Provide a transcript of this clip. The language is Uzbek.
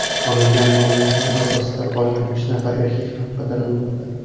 Olingan ma’lumotlar asosida qolgan uch nafar erkak ham qidirilmoqda.